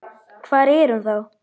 Hvar er hún þá?